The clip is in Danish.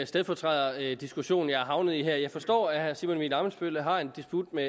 stedfortræderdiskussion jeg er havnet i her jeg forstår at herre simon emil ammitzbøll har en disput med